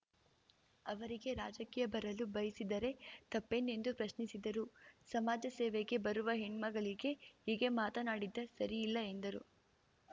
ಅವರೀಗೆ ರಾಜಕೀಯ ಬರಲು ಬಯಸಿದರೆ ತಪ್ಪೇನೆಂದು ಪ್ರಶ್ನಿಸಿದರು ಸಮಾಜಸೇವೆಗೆ ಬರುವ ಹೆಣ್ಮಗಳಿಗೆ ಹೀಗೆ ಮಾತನಾಡಿದ್ದ ಸರಿಯಲ್ಲ ಎಂದರು